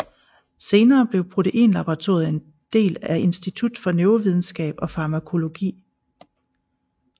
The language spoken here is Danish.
Senere blev Proteinlaboratoriet en del af Institut for Neurovidenskab og Farmakologi